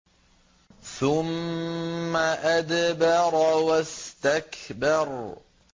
ثُمَّ أَدْبَرَ وَاسْتَكْبَرَ